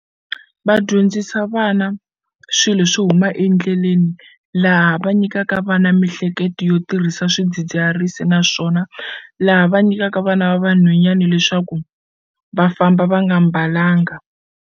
Va dyondzisa vana swilo swo huma endleleni laha va nyikaka vana mihleketo yo tirhisa swidzidziharisi naswona laha va nyikaka vana va vanhwanyani leswaku va famba va nga mbalanga.